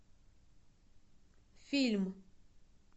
фильм